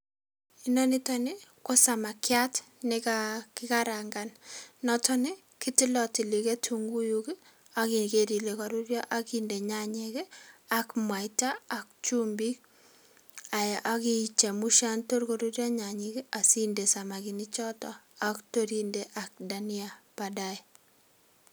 Inoniton nii ko samakiat nekakikarangan noton nii kitilotili ketunguu kii ak ikere ile koruryoo ak inde nyanyik kii ak muaita ak chumbik ayaa ichemuisha tor koruryo nyanyik kii ak inde samakinik choton ak tor inde dahania badaye.